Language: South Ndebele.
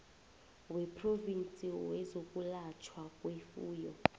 wephrovinsi wezokwelatjhwa kwefuyo